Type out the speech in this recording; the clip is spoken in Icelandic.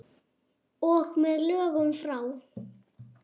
Og með lögum frá